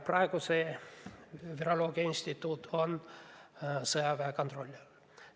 Praegu on sealne viroloogiainstituut sõjaväe kontrolli all.